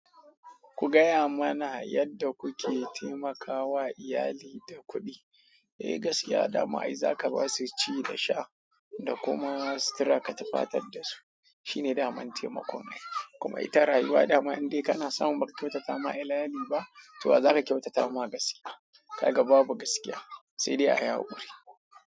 Ku gaya mana yadda kuke taimakawa iyali da kuɗi. Eh gaskiya dama ai zaka ba su ci da sha da kuma sutura ka tufatar da su shine daman taimakon ai. Kuma ita rayuwa dama in dai kana samu baka kyautata ma iyali ba to wa za ka kyautata ma gaskiya ka ga babu gaskiya sai dai a yi haƙuri.